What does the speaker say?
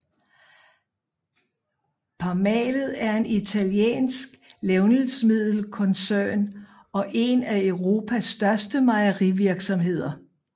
Parmalat er en italiensk levnedsmiddelskoncern og en af Europas største mejerivirksomheder